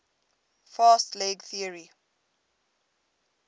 fast leg theory